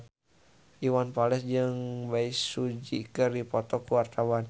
Iwan Fals jeung Bae Su Ji keur dipoto ku wartawan